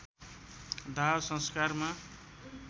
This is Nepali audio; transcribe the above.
दाह संस्कारमा